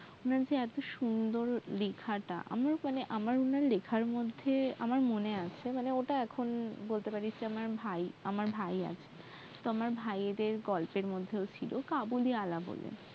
ওনার যে এত সুন্দর লেখাটা আমার মনে হয় লেখার মধ্যে আমার মনে আছে ওটা এখন বলতে পারিস যে আমার ভাই আমার ভাই আছে ভাইদের গল্পের মধ্যে ছিল কাবুলিওয়ালা বলে